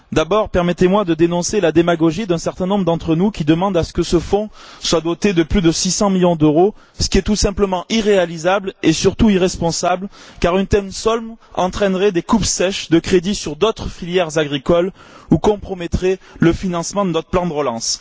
D'abord, permettez moi de dénoncer la démagogie d'un certain nombre d'entre nous, qui demandent que ce fonds soit doté de plus de 600 millions d'euros, ce qui est tout simplement irréalisable et surtout irresponsable, car une telle somme entraînerait des coupes sèches de crédits sur d'autres filières agricoles ou compromettrait le financement de notre plan de relance.